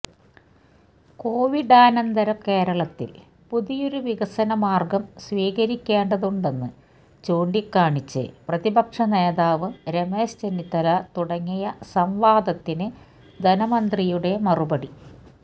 കോവിഡാനന്തര കേരളത്തിൽ പുതിയൊരു വികസന മാർഗം സ്വീകരിക്കേണ്ടതുണ്ടെന്ന് ചൂണ്ടിക്കാണിച്ച് പ്രതിപക്ഷ നേതാവ് രമേശ് ചെന്നിത്തല തുടങ്ങിയ സംവാദത്തിന് ധനമന്ത്രിയുടെ മറുപടി